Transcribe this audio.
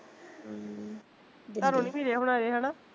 ਤੁਹਾਨੂੰ ਨੀ ਮਿਲਿਆ ਹੁਣਾ ਅਜੇ ਹੈਨਾ